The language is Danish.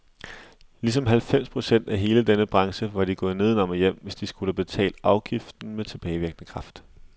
Ligesom halvfems procent af hele denne branche var de gået nedenom og hjem, hvis de skulle have betalt afgiften med tilbagevirkende kraft.